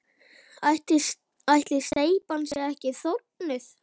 Ætli steypan sé ekki þornuð?